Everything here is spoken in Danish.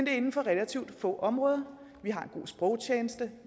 er inden for relativt få områder vi har en god sprogtjeneste